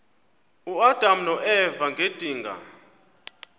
uadam noeva ngedinga